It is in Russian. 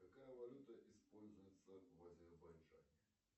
какая валюта используется в азербайджане